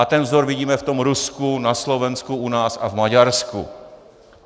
A ten vzor vidíme v tom Rusku, na Slovensku, u nás a v Maďarsku.